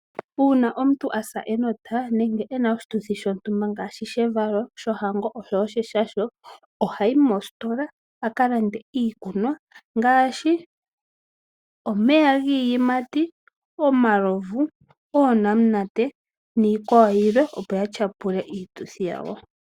Uuna omuntu asa enota nenge ena oshituthi shontumba ngaashi shevalo , shohango oshowoo sheshasho ohayi mositola akalande iikunwa ngaashi omeya giiyimati , omalovu, oonamunate niikwawo yilwe opo yatyapule iituthi yawo.